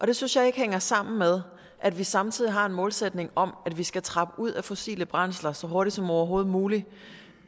det synes jeg ikke hænger sammen med at vi samtidig har en målsætning om at vi skal trappe ud af fossile brændsler så hurtigt som overhovedet muligt